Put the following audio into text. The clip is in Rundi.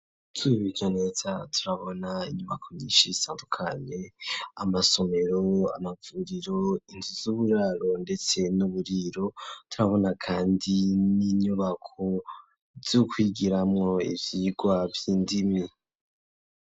Turavye neza turabona inyubako nyinshi zitandukanye, amasomero, amavuriro, inzu z'uburaro ndetse n'uburiro turabona kandi n'inyobako zokwigiramo ibyigwa vy'indimi.